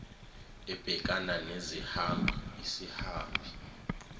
ebhekana nezihambi isihambi